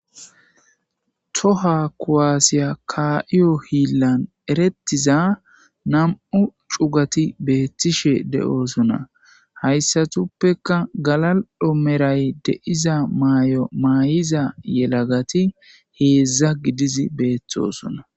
Toha kuwaasiya kaaiyo hiillan erettiza nam7u cugati beettishe de7oosona hayssatuppeka galadhomeray deiza maay7o maay7iza yelagati heedzdza gidizi beeththosona